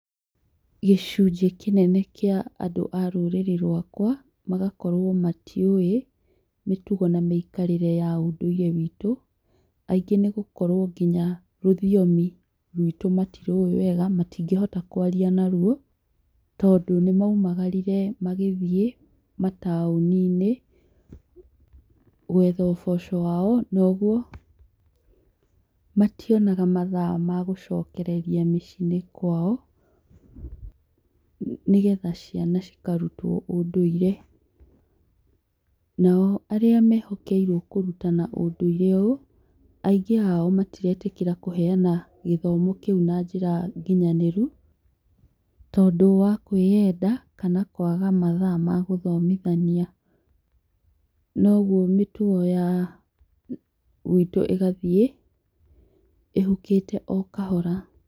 Gĩcunjĩ kĩnene kĩa andũ arũrĩrĩ rwakwa magakorwo matiũĩ mĩtugo na mĩikarĩre ya ũndũire witũ, aingĩ nĩ gũkorwo nginya rũthiomi rwitũ matĩrĩũĩ wega, matingĩhota kwaria naruo tondũ, nĩmaũmagarire magĩthiĩ mataũninĩ kwetha ũboco wao kwoguo mationaga mathaa ma gũcokeria mĩciĩ-inĩ kwao nĩgetha ciana cikarũtwo ũndũire nao arĩa mehokeirwo kũruta na ũndũire ũyũ, aingĩ ao matiretĩkĩra kũneana gĩthomo kĩũ na njĩra nginyanĩrũ tondũ wakwĩenda kana kwaga mathaa ma gũthomithania, noguo mĩtugo gwitũ ĩgathiĩ ĩhũkĩte okahora.